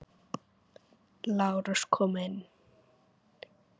LÁRUS: Kom inn!